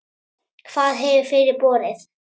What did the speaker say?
Hvað hefur fyrir borið?